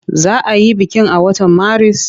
Za a yi bikin a watan Maris?